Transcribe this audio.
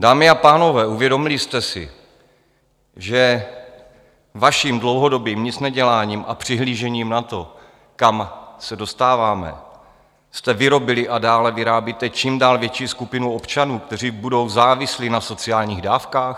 Dámy a pánové, uvědomili jste si, že vaším dlouhodobým nicneděláním a přihlížením na to, kam se dostáváme, jste vyrobili a dále vyrábíte čím dál větší skupinu občanů, kteří budou závislí na sociálních dávkách?